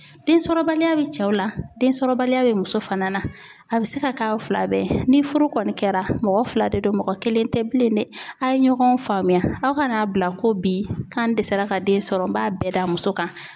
Densɔrɔbaliya bɛ cɛw la densɔrɔbaliya bɛ muso fana na a bɛ se ka k'aw fila bɛɛ ye ni furu kɔni kɛra mɔgɔ fila de do mɔgɔ kelen tɛ bilen dɛ a' ye ɲɔgɔn faamuya aw ka n'a bila ko bi k'an dɛsɛ ka den sɔrɔ n b'a bɛɛ d'a muso kan.